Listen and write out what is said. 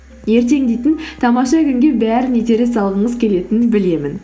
ертең дейтін тамаша күнге бәрін итере салғыңыз келетінін білемін